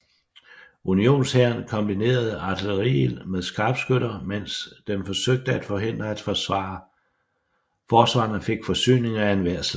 Unionshæren kombinerede artilleriild med skarpskytter mens den forsøgte at forhindre at forsvarerne fik forsyninger af enhver slags